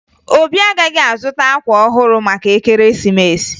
Obi agaghị azụta akwa ọhụrụ maka ekeresimesi